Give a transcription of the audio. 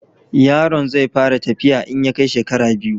Yaron zai fara tafiya in ya kai shekara biyu.